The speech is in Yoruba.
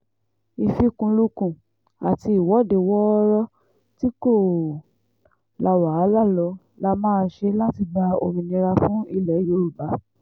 ìfikùnlukùn àti ìwọ́de wọ́ọ́rọ́ tí kò la wàhálà lọ la máa ṣe láti gba òmìnira fún ilẹ̀ yorùbá